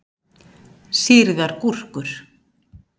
Sýrðar gúrkur.